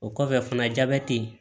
O kɔfɛ fana jabɛti